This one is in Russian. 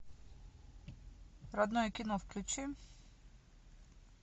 родное кино включи